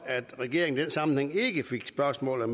at regeringen i den sammenhæng ikke fik spørgsmålet